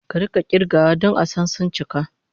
Ka rika kirgawa don a san suncika